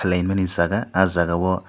timani jaaga ahh jaaga o--